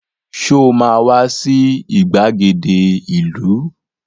Sọ ma wá sí ìgbàgede ìlú?